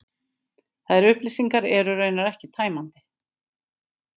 Þær upplýsingar eru raunar ekki tæmandi